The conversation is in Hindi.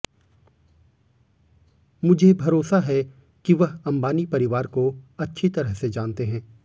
मुझे भरोसा है कि वह अंबानी परिवार को अच्छी तरह से जानते हैं